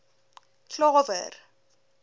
klawer